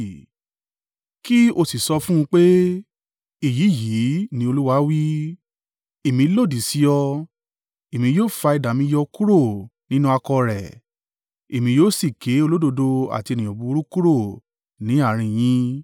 Kí ó sì sọ fún un pe, ‘Èyí yìí ni Olúwa wí, Èmi lòdì sí ọ. Èmi yóò fa idà mi yọ kúrò nínú àkọ̀ rẹ̀, Èmi yóò sì ké olódodo àti ènìyàn búburú kúrò ni àárín yín.